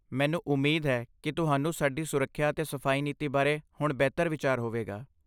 ਮੈਨੂੰ ਉਮੀਦ ਹੈ ਕਿ ਤੁਹਾਨੂੰ ਸਾਡੀ ਸੁਰੱਖਿਆ ਅਤੇ ਸਫਾਈ ਨੀਤੀ ਬਾਰੇ ਹੁਣ ਬਿਹਤਰ ਵਿਚਾਰ ਹੋਵੇਗਾ।